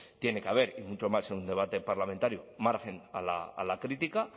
tiene que haber y mucho más en un debate parlamentario margen a la crítica